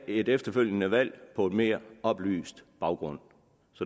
et efterfølgende valg på en mere oplyst baggrund